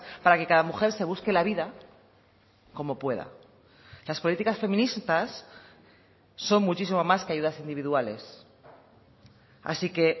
para que cada mujer se busque la vida como pueda las políticas feministas son muchísimo más que ayudas individuales así que